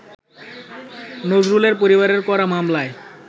নজরুলের পরিবারের করা মামলায়